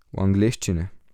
V angleščini.